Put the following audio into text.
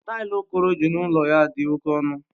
Tailu okoro eji n'ulo ya di oke onu.